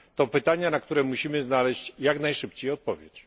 To pytania, na które musimy znaleźć jak najszybciej odpowiedź.